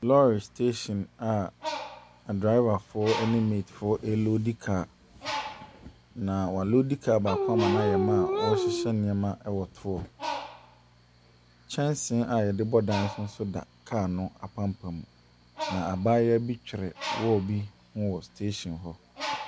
Lɔre station adrɔbafoɔ ne meetifoɔ reloodi kaa., na wɔaloodi kaa baako ama no ayɛ ma a wɔrehyehyɛ nneɛma wɔ toɔ. Kyɛnse a wɔde bɔ dan so nso da kaa no apampam, na abayewa bi twere wall bi ho wɔ station hɔ.